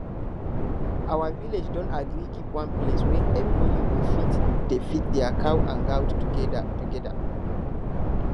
our village don agree keep one place wey everybody go fit dey feed their cow and goat together together